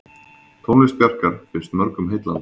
Tónlist Bjarkar finnst mörgum heillandi.